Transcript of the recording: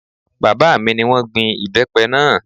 Bàbá mi ni wọ́n gbin ìbẹ́pẹ náà